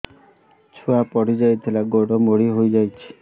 ଛୁଆ ପଡିଯାଇଥିଲା ଗୋଡ ମୋଡ଼ି ହୋଇଯାଇଛି